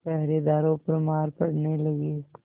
पहरेदारों पर मार पड़ने लगी